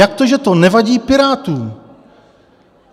Jak to, že to nevadí Pirátům?